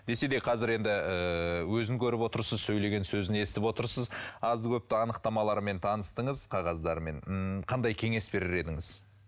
десе де қазір енді ыыы өзін көріп отырсыз сөйлеген сөзін естіп отырсыз азды көпті анықтамаларымен таныстыңыз қағаздарымен ммм қандай кеңес берер едіңіз